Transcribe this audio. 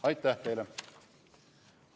Aitäh teile!